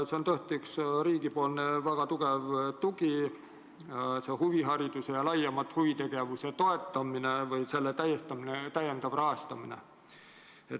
See on tõesti riigi väga tugev tugi, see huvihariduse ja laiemalt huvitegevuse toetamine või selle täiendav rahastamine.